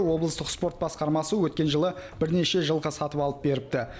облыстық спорт басқармасы өткен жылы бірнеше жылқы сатып алып беріпті